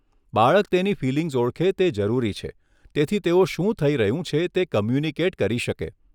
બાળક તેની ફિલિંગ્સ ઓળખે તે જરૂરી છે તેથી તેઓ શું થઈ રહ્યું છે તે કમ્યુનિકેટ કરી શકે.